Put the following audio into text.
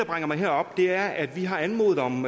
bringer mig herop er at vi har anmodet om